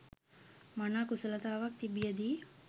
මනා කුසලතාවක් තිබියදී